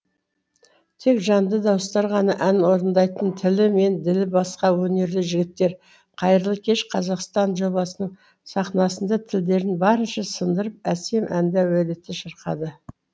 тек жанды дауыстар ғана ән орындайтын тілі мен ділі басқа өнерлі жігіттер қайырлы кеш қазақстан жобасының сахнасында тілдерін барынша сындырып әсем әнді әуелете шырқады